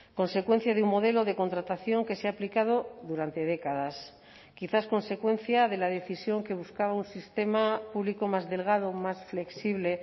consecuencia de un modelo de contratación que se ha aplicado durante décadas quizás consecuencia de la decisión que buscaba un sistema público más delgado más flexible